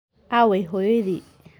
Aaway hooyadii?